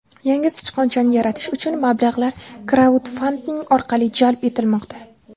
Yangi sichqonchani yaratish uchun mablag‘lar kraudfanding orqali jalb etilmoqda.